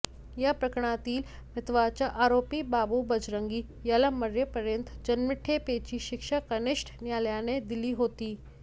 या प्रकरणातील महत्वाचा आरोपी बाबू बजरंगी याला मरेपर्यंत जन्मठेपेची शिक्षा कनिष्ठ न्यायालयाने दिली होती